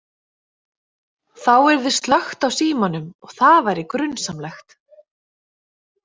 Þá yrði slökkt á símanum og það væri grunsamlegt.